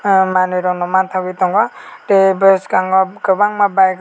ah manui rok no mangtogoi tongo tei beskango kobangma bike rok.